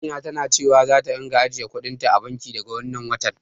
Amina tana cewa zata ringa ajiye kuɗin ta a banki, daga wannan watan.